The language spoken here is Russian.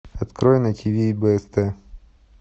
открой на тиви бст